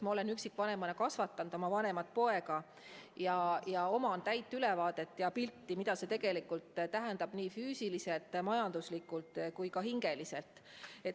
Ma olen üksikvanemana kasvatanud oma vanemat poega ja mul täielik ülevaade ja selge pilt, mida see tegelikult tähendab nii füüsiliselt, majanduslikult kui ka hingeliselt.